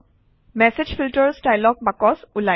message filters dialog box ওলায়